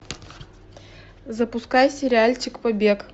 запускай сериальчик побег